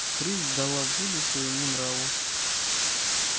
рысь дала волю своему нраву